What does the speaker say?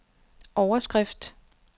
overskrift